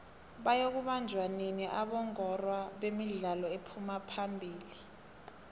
bayoku banjoua nini abongorwa bemidlalo ephuma phamili